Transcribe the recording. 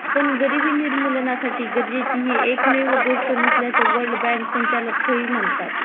पण गरिबी निर्मूलनासाठी गरजेची हि एकमेव गोष्ट नसल्याची वर्ल्ड बँक संचालक कै हि म्हणतात